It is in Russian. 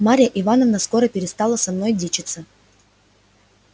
марья ивановна скоро перестала со мною дичиться